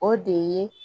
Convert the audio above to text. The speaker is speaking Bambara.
O de ye